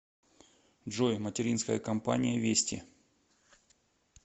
джой материнская компания вести